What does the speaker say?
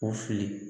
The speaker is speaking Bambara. O fili